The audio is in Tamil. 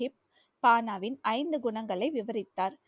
தானாவின் ஐந்து குணங்களை விவரித்தார்